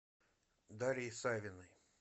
дарьи савиной